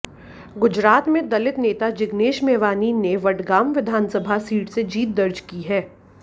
गुजरात में दलित नेता जिग्नेश मेवानी ने वडगाम विधानसभा सीट से जीत दर्ज की है